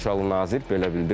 Polşalı nazir belə bildirib.